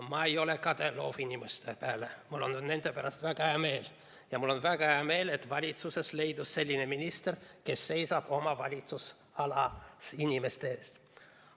Ma ei ole kade loovinimeste peale, mul on nende pärast väga hea meel ja mul on väga hea meel, et valitsuses leidus selline minister, kes seisab oma valitsusalas inimeste eest.